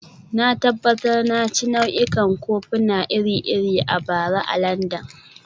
Na tabbatar na ci nau'ikan kofuna iri-iri a bara a Landan